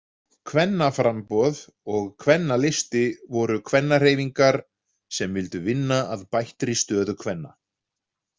Kvennaframboð og Kvennalisti voru kvennahreyfingar sem vildu vinna að bættri stöðu kvenna.